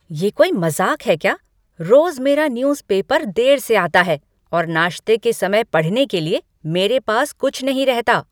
ये कोई मज़ाक है क्या? रोज मेरा न्यूज पेपर देर से आता है और नाश्ते के समय पढ़ने के लिए मेरे पास कुछ नहीं रहता।